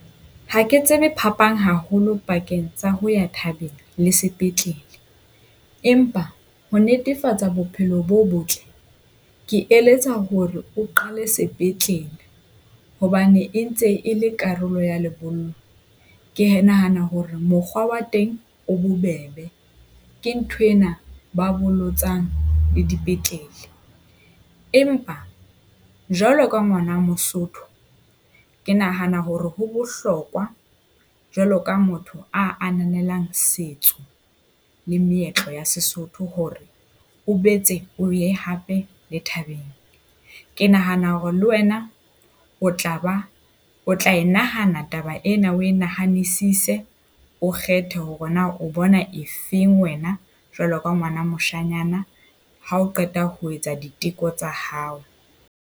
Ha ke tsebe phapang haholo pakeng tsa ho ya thabeng le sepetlele. Empa ho netefatsa bophelo bo botle, ke eletsa hore o qale sepetlele hobane e ntse e le karolo ya lebollo. Ke nahana hore mokgwa wa teng o bobebe ke nthwena ba bolotsang le dipetlele. Empa jwalo ka ngwana Mosotho, ke nahana hore ho bohlokwa jwalo ka motho ananelang setso le meetlo ya Sesotho hore o boetse o ye hape le thabeng. Ke nahana hore le wena o tla ba o tla e nahana taba ena o inahanisise, o kgethe hore na o bona e feng wena jwalo ka ngwana moshanyana, ha o qeta ho etsa diteko tsa hao.